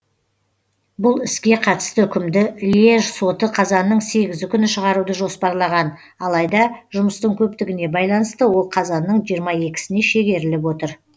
бұл іске қатысты үкімді льеж соты қазанның сегізі күні шығаруды жоспарлаған алайда жұмыстың көптігіне байланысты ол қазанның жиырма екісіне шегеріліп отыр